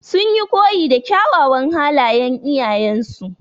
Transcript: Sun yi koyi da kyawawan halayan iyayen su.